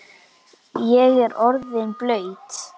Ég er orðinn blaut